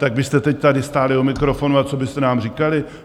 Tak byste teď tady stáli u mikrofonu a co byste nám říkali?